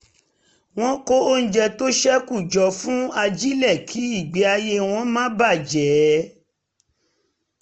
wọ́n ń kó oúnjẹ tó ṣẹ́kù jọ fún ajílẹ̀ kí ìgbé ayé wọn má bà a jẹ